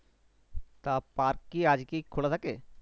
তা park কি আজকেই খোলা থেকে?